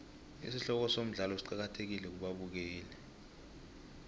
isihloko somdlalo siqakathekile kubabukeli